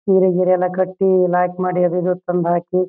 ಸಿರೆ ಗಿರೆ ನ ಕಟ್ಟಿ ಲಾಯ್ಕ್ ಮಾಡಿ ಅದೆಲ್ಲ ತಂದ್ ಹಾಕಿ.